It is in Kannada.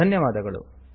ಧನ್ಯವಾದಗಳು